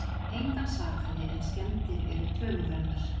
Engan sakaði en skemmdir eru töluverðar